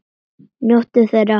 Njóttu þeirra!